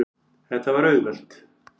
Það var auðvelt.